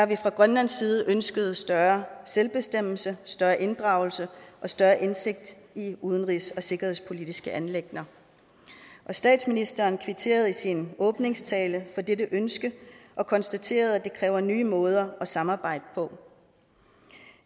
vi fra grønlands side ønsket større selvbestemmelse større inddragelse og større indsigt i udenrigs og sikkerhedspolitiske anliggender og statsministeren kvitterede i sin åbningstale for dette ønske og konstaterede at det kræver nye måder at samarbejde på